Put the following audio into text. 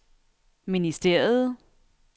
ministeriet